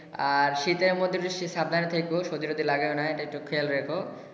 আর শীতের মধ্যে বেশি সাবধানে থেকো। সর্দি তরদি লাগাইও না। এটা একটু খেয়াল রেখো।